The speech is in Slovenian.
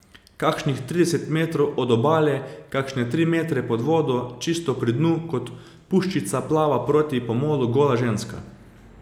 Kakšnih trideset metrov od obale, kakšne tri metre pod vodo, čisto pri dnu, kot puščica plava proti pomolu gola ženska.